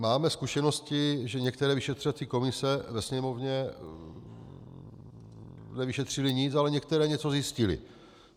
Máme zkušenosti, že některé vyšetřovací komise ve Sněmovně nevyšetřily nic, ale některé něco zjistily.